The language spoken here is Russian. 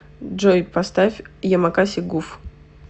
джой поставь ямакаси гуф